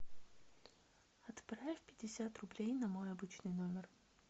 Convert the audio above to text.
отправь пятьдесят рублей на мой обычный номер